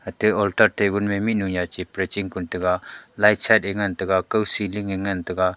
atte altat tabun me mihnu nya chi pray chipru ning taga light sat eh ngantaga kaw ceiling eh ngantaga.